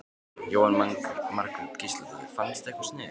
Jóhanna Margrét Gísladóttir: Fannstu eitthvað sniðugt?